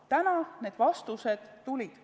– täna need vastused tulid.